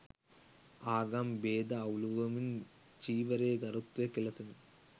ආගම් බේද අවුලුවමින් චීවරයේ ගරුත්වය කෙලෙසන